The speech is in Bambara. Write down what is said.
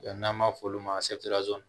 n'an b'a f'olu ma